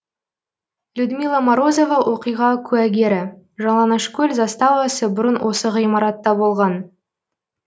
людмила морозова оқиға куәгері жалаңашкөл заставасы бұрын осы ғимаратта болған